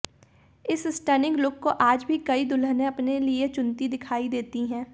इस stunning look को आज भी कई दुल्हनें अपने लिए चुनती दिखाई देती हैं